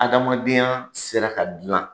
Adamadenya sera ka dilan.